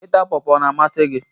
Ịta Pọọpọ ọ na-amasị gị?